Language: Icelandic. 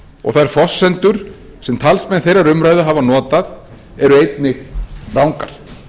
og þær forsendur sem talsmenn þeirrar umræðu hafa notað eru einnig rangar